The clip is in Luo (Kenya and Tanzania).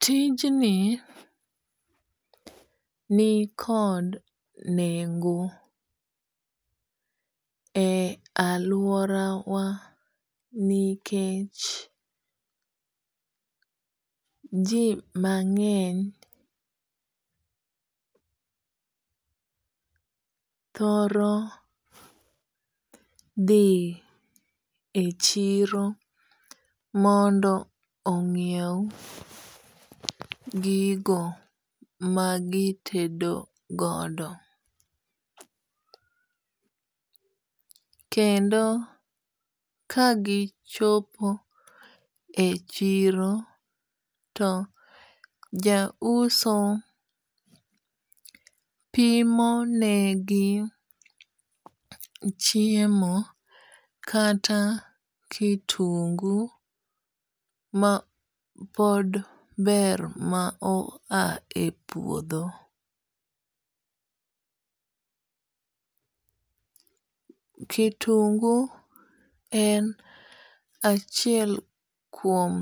Tijni ni kod nengo e aluora wa nikech ji mang'eny thoro dhi e chiro mondo ong'iew gigo magitedo godop. Kendo kagichopo e chiro to ja uso pimo negi chiemo kata kitungu ma pod ber ma o a e puodho. Kitungu en achiel kuom